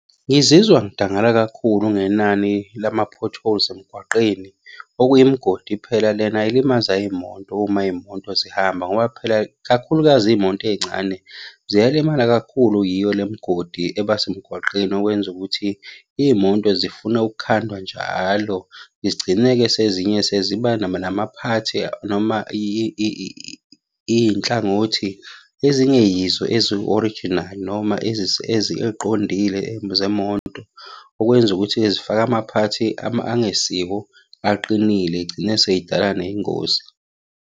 Ngizizwa ngidangala kakhulu ngenani lama-potholes emgwaqeni. Okuyimigodi phela lena elimaza iy'moto uma iy'moto zihamba, ngoba phela kakhulukazi iy'moto ey'ncane ziyalimala kakhulu yiyo le migodi eba semgwaqeni. Okwenza ukuthi iy'moto zifune ukukhandwa njalo zigcineke sezinye seziba namaphathi noma iy'nhlangothi ezinge yizo ezu-orijinali noma ey'qondile zemoto. Okwenza ukuthi-ke zifake amaphathi angesiwo aqinile, iy'gcine sey'dala ney'ngozi.